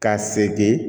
Ka segin